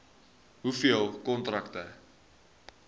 hoeveel kontrakte